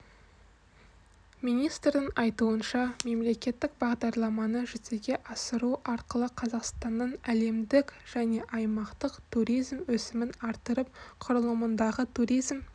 министрдің айтуынша мемлекеттік бағдарламаны жүзеге асыру арқылы қазақстанның әлемдік және аймақтық туризм өсімін арттырып құрылымындағы туризм